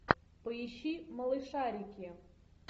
поищи малышарики